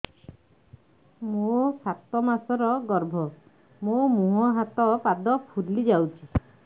ମୋ ସାତ ମାସର ଗର୍ଭ ମୋ ମୁହଁ ହାତ ପାଦ ଫୁଲି ଯାଉଛି